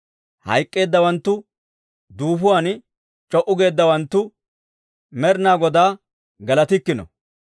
Hayk'k'eeddawanttu, duufuwaan c'o"u geeddawanttu, Med'inaa Godaa galatikkino.